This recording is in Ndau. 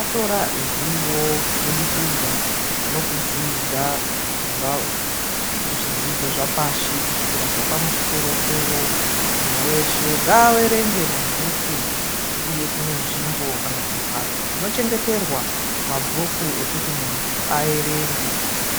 atora zivo kubudikidza nokudzidza kubva muzvidzidzo zvapashi kusvikira zvepamusoro-soro. Muntu weshe ngaaverenge mabhuku uye kune nzvimbo kana kuti mbatso dzinochengeterwa mabhuku ekuti muntu aerenge.